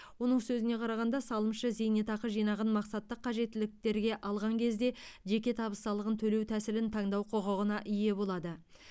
оның сөзіне қарағанда салымшы зейнетақы жинағын мақсатты қажеттіліктерге алған кезде жеке табыс салығын төлеу тәсілін таңдау құқығына ие болады